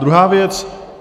Druhá věc.